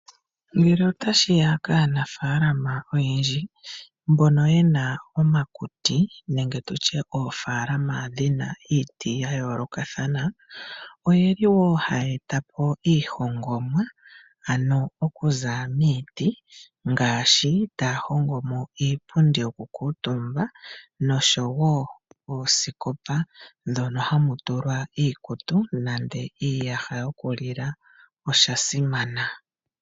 Ngele otashiya kaanafaalama oyendji mbono ye na omakuti nenge tu tye oofaalama dhi na iiti ya yoolokathana oyeli wo haye eta po iihongomwa ano okuza miiti ngaashi taya hongo mo iipundi yokukuutumbwa nosho wo oosikopa dhono hamu tulwa iikutu nenge iiyaha yokulila, oshasimana.